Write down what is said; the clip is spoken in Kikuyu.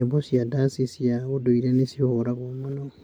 Nyĩmbo na ndaci cia ũndũire nĩ cihũragwo mũno.